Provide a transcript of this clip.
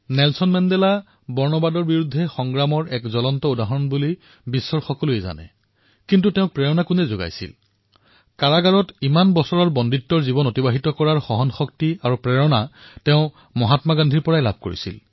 আমি সকলোৱে জানো যে নেলচন মেণ্ডেলা সমগ্ৰ বিশ্বত বৰ্ণ বিদ্বেষৰ বিৰুদ্ধে সংঘৰ্ষত লিপ্ত হৈছিল আৰু এই মেণ্ডেলাৰ প্ৰেৰণাস্ৰোত কোন আছিল তেওঁ ইমান বছৰ কাৰাবাস খটাৰ সহনশক্তি আৰু প্ৰেৰণা পূজ্য বাপুৰ পৰা পাইছিল